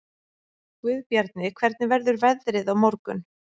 Guðbjarni, hvernig verður veðrið á morgun?